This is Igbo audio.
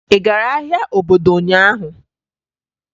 Ị gara ahịa obodo ụnyaahụ?